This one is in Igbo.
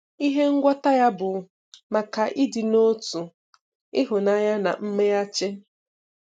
Ihe um ngwọta ya bụ maka ịdị n'otu, ịhụnanya na mweghachi.